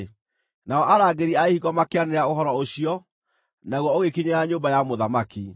Nao arangĩri a ihingo makĩanĩrĩra ũhoro ũcio, naguo ũgĩkinyĩra nyũmba ya mũthamaki.